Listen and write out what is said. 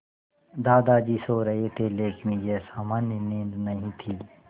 दादाजी सो रहे थे लेकिन यह सामान्य नींद नहीं थी